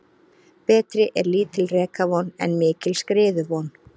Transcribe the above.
Betri er lítil rekavon en mikil skriðuvon.